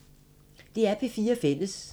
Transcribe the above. DR P4 Fælles